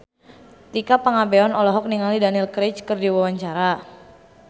Tika Pangabean olohok ningali Daniel Craig keur diwawancara